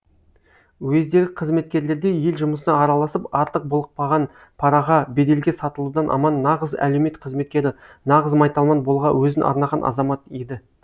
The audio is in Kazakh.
уездегі қызметкерлердей ел жұмысына араласып артық былықпаған параға беделге сатылудан аман нағыз әлеумет қызметкері нағыз майталман болуға өзін арнаған азамат еді